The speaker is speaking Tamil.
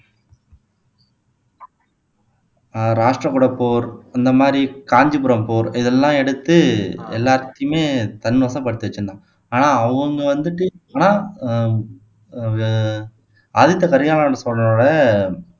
அஹ் ராஷ்டிரகூட போர் அந்த மாதிரி காஞ்சிபுரம் போர் இதெல்லாம் எடுத்து எல்லாத்தையுமே தன் வசப்படுத்தி வச்சிருந்தான் ஆனால் அவங்க வந்துட்டு ஆனா ஆஹ் அஹ் ஆதித்த கரிகாலன் சோழனோட